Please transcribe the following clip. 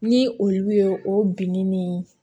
Ni olu ye o binni nin